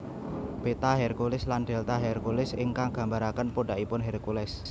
Beta Herculis lan Delta Herculis ingkang gambaraken pundhakipun Hercules